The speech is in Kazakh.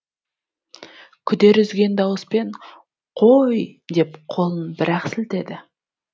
күдер үзген дауыспен қо о о й деп қолын бір ақ сілтеді